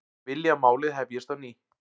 Vilja að málið hefjist á ný